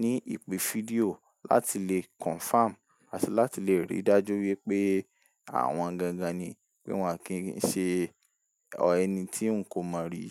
ní ìpè fídíò láti le confirm àti láti le rí dájú wípé àwọn gangan ni pé wọn kì ń ṣe ẹni ti n ko mọ ri.